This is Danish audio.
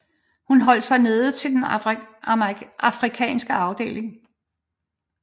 Hun holder sig nede til den Afrikanske afdeling